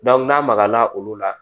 n'a magaya la olu la